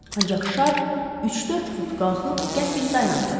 Ancaq şar üç-dörd fut qalxıb qəfil dayandı.